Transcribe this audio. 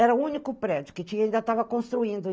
Era o único prédio que tinha e ainda estava construindo.